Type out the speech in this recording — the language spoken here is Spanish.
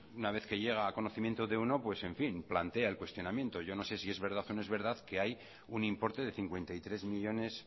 una vez que llega a conocimiento de uno pues en fin plantea el cuestionamiento yo no sé si es verdad o no es verdad que hay un importe de cincuenta y tres millónes